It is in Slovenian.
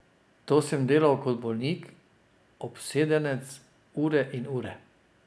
To sem delal kot bolnik, obsedenec, ure in ure.